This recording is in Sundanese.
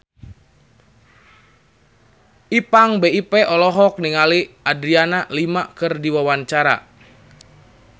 Ipank BIP olohok ningali Adriana Lima keur diwawancara